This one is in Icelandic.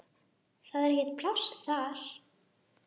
Það er ekkert pláss þar.